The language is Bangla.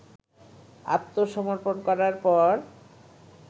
আত্মসমর্পণ করার পর